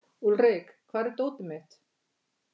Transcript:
Úlrik, hvar er dótið mitt?